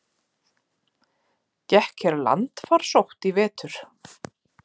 Gekk hér landfarsótt í vetur?